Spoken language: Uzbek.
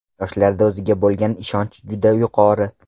Yoshlarda o‘ziga bo‘lgan ishonch juda yuqori.